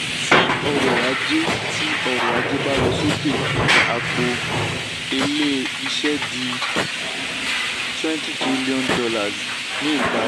tí ọrọ̀ ajé tí ọrọ̀ ajé bá lọ sókè àpò elé-iṣẹ́ di twenty trillion dollars ní ìparí.